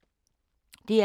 DR K